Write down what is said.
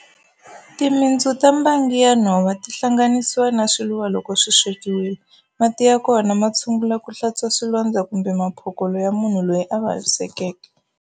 Timitsu ta mbangi ya nhova ti hlanganisiwa na swiluva loko swi swekiwile. Mati ya kona ma tshungula ku hlantswa swilondza kumbe maphokolo ya munhu loyi a vavisekeke.